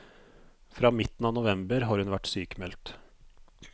Fra midten av november har hun vært sykmeldt.